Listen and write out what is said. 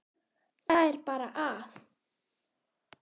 Það er bara að.